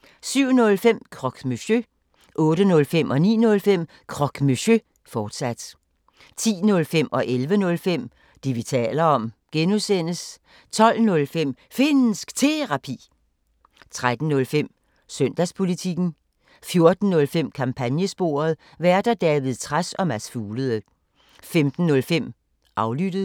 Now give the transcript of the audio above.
(G) 07:05: Croque Monsieur 08:05: Croque Monsieur, fortsat 09:05: Croque Monsieur, fortsat 10:05: Det, vi taler om (G) 11:05: Det, vi taler om (G) 12:05: Finnsk Terapi 13:05: Søndagspolitikken 14:05: Kampagnesporet: Værter: David Trads og Mads Fuglede 15:05: Aflyttet